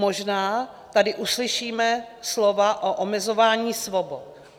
Možná tady uslyšíme slova o omezování svobod.